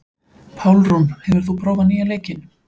Pálrún, hefur þú prófað nýja leikinn?